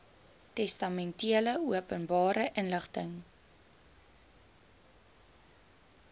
testamente openbare inligting